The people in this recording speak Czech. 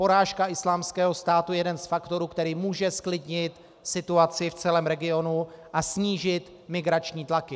Porážka Islámského státu je jeden z faktorů, který může zklidnit situaci v celém regionu a snížit migrační tlaky.